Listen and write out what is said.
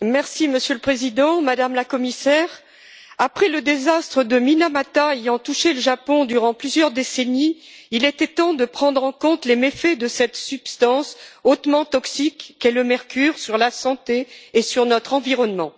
Monsieur le Président, Madame la Commissaire, après le désastre de Minamata qui a touché le Japon durant plusieurs décennies, il était temps de prendre en compte les méfaits de cette substance hautement toxique qu'est le mercure, sur la santé et sur notre environnement.